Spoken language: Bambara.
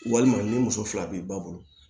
Walima ni muso fila b'i ba bolo